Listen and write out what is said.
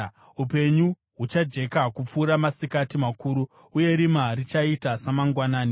Upenyu huchajeka kupfuura masikati makuru, uye rima richaita samangwanani.